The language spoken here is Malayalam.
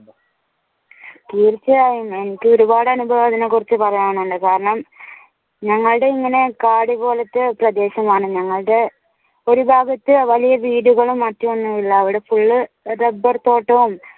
തീർച്ചയായും എനിക്ക് ഒരുപാട് അനുഭവങ്ങൾ ഇതിനെ കുറിച്ച് പറയാനുണ്ട് കാരണം ഞങ്ങളുടെ ഇങ്ങനെ കാട് പോലത്തെ പ്രദേശമാണ് ഞങ്ങളുടെ ഒരു ഭാഗത്തു വലിയ വീടുകളും മറ്റും ഒന്നും ഇല്ല ഇവിടെ full rubber തോട്ടവും